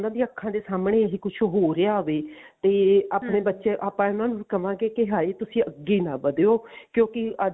ਉਹਨਾ ਦੀਆਂ ਅੱਖਾ ਦੇ ਸਾਹਮਣੇ ਇਹ ਕੁੱਝ ਹੋ ਰਿਹਾ ਹੋਵੇ ਤਾਂ ਆਪਣੇ ਬੱਚੇ ਆਪਾਂ ਇਹਨਾ ਨੂੰ ਕਹਾਂਗੇ ਹਾਏ ਤੁਸੀਂ ਅੱਗੇ ਨਾ ਵਧਿਓ ਕਿਉਂਕਿ ਅੱਜ